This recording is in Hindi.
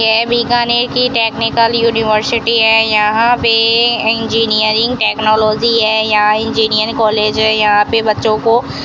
ये बीकानेर की टेक्निकल यूनिवर्सिटी है यहां पे इंजीनियरिंग टेक्नोलॉजी है यहां इंजीनियरकॉलेज है यहां पे बच्चों को --